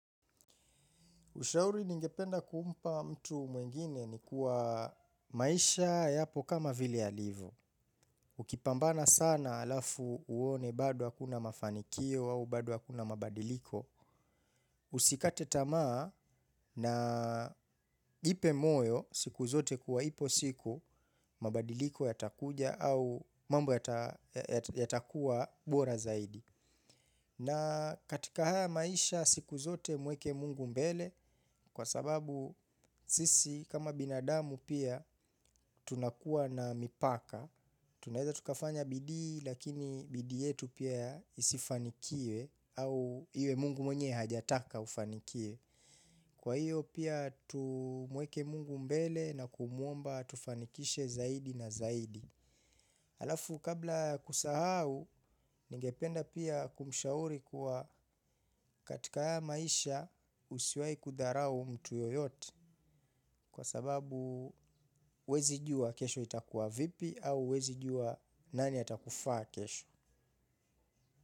Ushauri ningependa kumpa mtu mwingine ni kuwa maisha yapo kama vile yalivo. Ukipambana sana alafu uone badu hakuna mafanikio au bado hakuna mabadiliko. Usikate tamaa na jipe moyo siku zote kuwa ipo siku mabadiliko yatakuja au mambo yata yata yatakuwa bora zaidi. Na katika haya maisha siku zote mweke mungu mbele kwa sababu sisi kama binadamu pia tunakuwa na mipaka. Tunaeza tukafanya bidii lakini bidii yetu pia isifanikiwe au iwe mungu mwenye hajataka ufanikiwe. Kwa hiyo pia tumweke mungu mbele na kumwomba atufanikishe zaidi na zaidi. Alafu kabla ya kusahau ningependa pia kumshauri kuwa katika haya maisha usiwahi kudharau mtu yoyote kwa sababu huwezi jua kesho itakuwa vipi au huwezi jua nani atakufaa kesho.